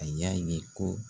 A y'a ye ko